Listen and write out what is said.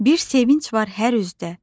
Bir sevinc var hər üzdə,